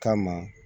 Kama